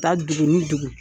Taa dugu ni dugu.